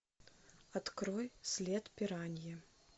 открой след пираньи